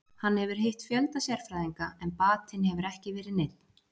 Hann hefur hitt fjölda sérfræðinga en batinn hefur ekki verið neinn.